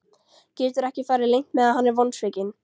Getur ekki farið leynt með að hann er vonsvikinn.